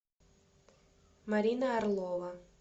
марина орлова